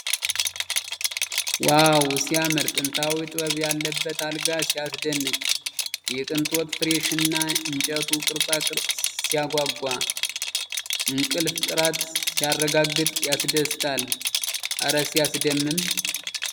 ዋው ሲያምር ! የጥንታዊ ጥበብ ያለበት አልጋ ሲያስደንቅ ! የቅንጦት ፍራሽና የእንጨቱ ቅርፃቅርፅ ሲያጓጓ ! የእንቅልፍ ጥራት ሲያረጋግጥ ያስደስታል ! እረ ሲያስደምም!